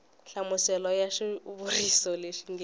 nhlamuselo ya xivuriso lexi nge